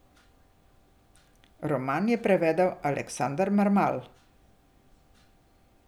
Roman je prevedel Aleksander Mermal.